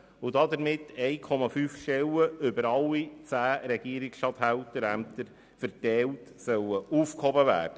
Damit sollen über alle zehn Regierungsstatthalterämter 1,5 Stellen verteilt aufgehoben werden.